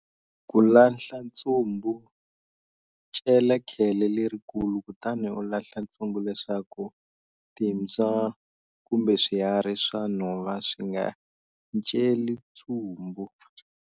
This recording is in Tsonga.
Ku lahla ntsumbu, cela khele lerikulu kutani u lahla ntsumbu leswaku timbya kumbe swiharhi swa nhova swi nga celi ntsumbu.